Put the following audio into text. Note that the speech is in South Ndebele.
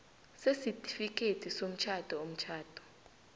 sesitifikhethi somtjhado umtjhado